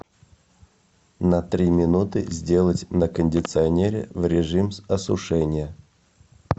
на три минуты сделать на кондиционере в режим осушения